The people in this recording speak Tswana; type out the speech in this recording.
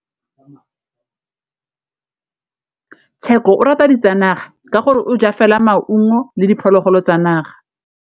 Tshekô o rata ditsanaga ka gore o ja fela maungo le diphologolo tsa naga.